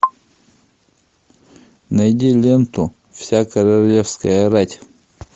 найди ленту вся королевская рать